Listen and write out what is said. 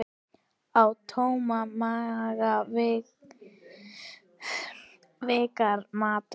Á tóman maga virkar matar